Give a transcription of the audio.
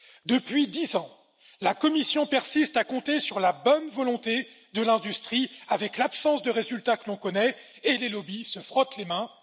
Depuis dix ans, la Commission persiste à compter sur la bonne volonté de l'industrie, avec l'absence de résultats que l'on connaît, et les lobbies se frottent les mains.